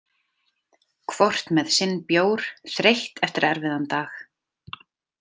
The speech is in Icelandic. Hvort með sinn bjór, þreytt eftir erfiðan dag.